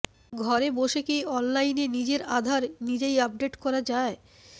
ঘরে বসে কী অনলাইনে নিজের আধার নিজেই আপডেট করা যায়